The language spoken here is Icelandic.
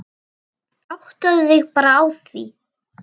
Áttaðu þig bara á því.